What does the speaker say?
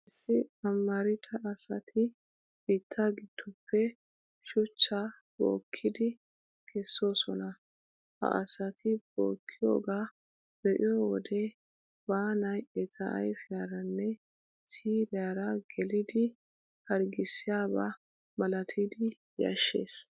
Issi amarida asati biittaa giddoppe shuchchaa bookkidi kessoosona. Ha asati bookkiyoogaa be'iyoo wode baanay eta ayfiyaaraanne siiriyaara gelidi harggissiyaba malatidi yashshees.